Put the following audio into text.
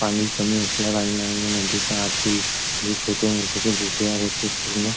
पाणी कमी असल्याकारणाने नदीच्या आतील छोटे-मोठे गोटे आहे ते पूर्ण --